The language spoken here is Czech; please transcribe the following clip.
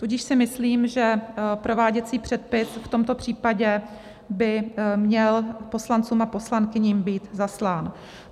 Tudíž si myslím, že prováděcí předpis v tomto případě by měl poslancům a poslankyním být zaslán.